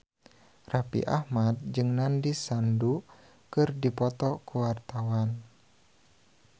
Raffi Ahmad jeung Nandish Sandhu keur dipoto ku wartawan